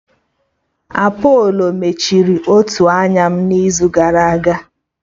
Apolo mechiri otu anya m n'izu gara aga